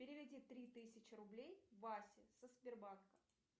переведи три тысячи рублей васе со сбербанка